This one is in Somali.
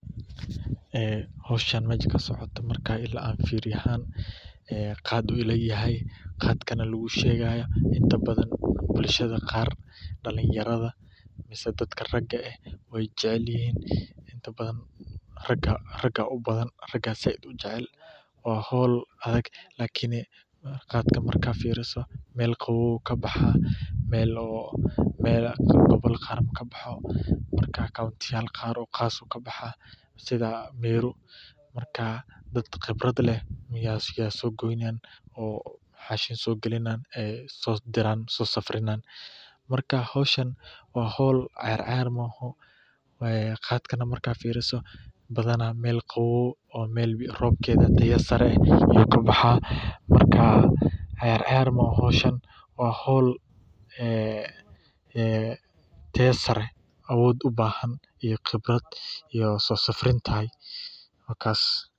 Howshan meesha kasocoto qaat ayuu ila yahay, inta badan raga waay jecel yihiin, waa howl adag, meel qaboow ayuu kabaxaa, dad khibrad leh ayaa soo giyaan, howl ciyaar ah maaha, badanaa meel roobkeeda badan yahay ayuu kabaxaa, wuxuu ubahan yahay soo safrin.